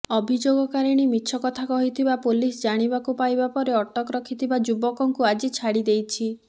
ଅଭିଯୋଗକାରିଣୀ ମିଛ କଥା କହିଥିବା ପୋଲିସ ଜାଣିବାକୁ ପାଇବା ପରେ ଅଟକ ରଖିଥିବା ଯୁବକଙ୍କୁ ଆଜି ଛାଡି ଦେଇଛି